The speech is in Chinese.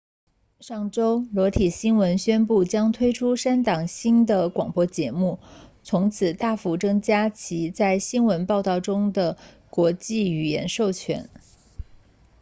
上周裸体新闻 naked news 宣布将推出三档新的广播节目以此大幅增加其在新闻报道中的国际语言授权